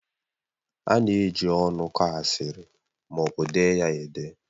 A na-eji ọnụ kọọ asịrị ma ọ bụ dee ya ede